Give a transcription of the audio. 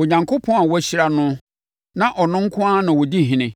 Onyankopɔn a wɔahyira no na ɔno nko ara di Ɔhene,